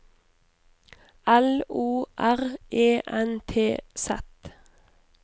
L O R E N T Z